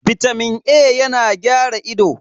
Bitamin A yana gyara ido.